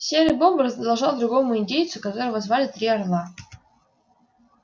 серый бобр задолжал другому индейцу которого звали три орла